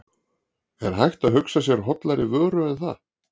Er hægt að hugsa sér hollari vöru en það?